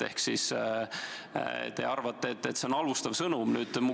Ehk te arvate, et see on halvustav sõnum.